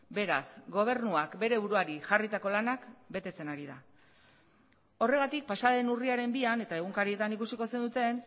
beraz gobernuak bere buruari jarritako lanak betetzen ari da horregatik pasa den urriaren bian eta egunkarietan ikusiko zenuten